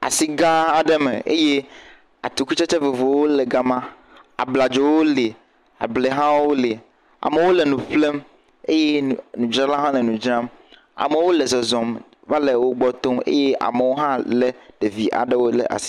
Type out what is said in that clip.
Asi gãa aɖe me eye atikutsetse vovovowo le gama. Abladzowo le, ablɛ hã wole. Amewo le nu ƒlem eye nudzralawo hã le nu dzram. Amewo le zɔzɔm va le wogbɔ tom eye amewo hã lé ɖevi aɖewo le asi.